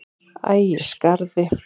Ægisgarði